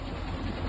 Allaha qurban olum.